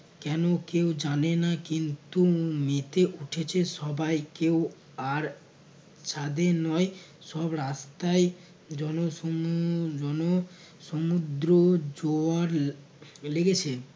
কেনো কেউ জানে না কিন্তু মেতে উঠেছে সবাই কেউ আর ছাদে নয় সব রাস্তায় জনশ~ জন সমুদ্র জোয়ার এর লেগেছে